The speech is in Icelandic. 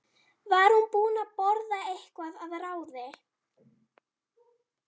Var hún búin að borða eitthvað að ráði?